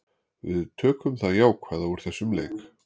Við tökum það jákvæða úr þessum leik.